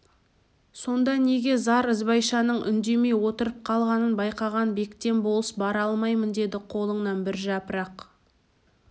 сонда неге зар ізбайшаның үндемей отырып қалғанын байқаған бектен болыс бара алмаймын деп қолыңнан бір жапырақ